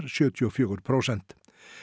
sjötíu og fjögur prósent